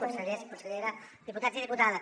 consellers consellera diputats i diputades